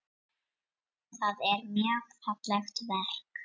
Það er mjög fallegt verk.